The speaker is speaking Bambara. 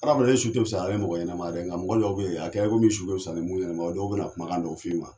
Adamaden su te fusaya nin mɔgɔ ɲɛnama ye, nka mɔgɔ dɔw be yen, a kɛra komi su bɛ wusaya, ni munnu